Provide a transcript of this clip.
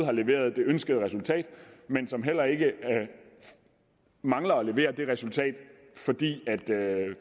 har leveret det ønskede resultat men som heller ikke mangler at levere det resultat fordi